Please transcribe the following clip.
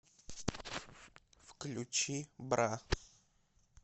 включи бра